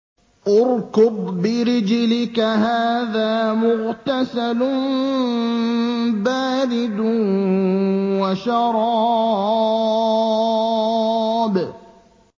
ارْكُضْ بِرِجْلِكَ ۖ هَٰذَا مُغْتَسَلٌ بَارِدٌ وَشَرَابٌ